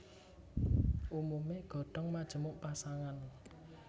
Umumé godhong majemuk pasangan